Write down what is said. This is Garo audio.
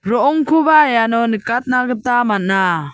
ro·ongkoba iano nikatna gita man·a.